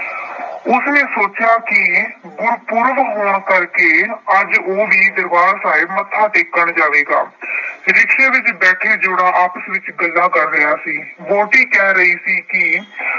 ਉਸਨੇ ਸੋਚਿਆ ਕਿ ਗੁਰਪੁਰਬ ਹੋਣ ਕਰਕੇ ਅੱਜ ਉਹ ਵੀ ਦਰਬਾਰ ਸਾਹਿਬ ਮੱਥਾ ਟੇਕਣ ਜਾਵੇਗਾ। rickshaw ਵਿੱਚ ਬੈਠਾ ਜੋੜਾ ਆਪਸ ਵਿੱਚ ਗੱਲਾਂ ਕਰ ਰਿਹਾ ਸੀ। ਵਹੁਟੀ ਕਹਿ ਰਹੀ ਸੀ ਕਿ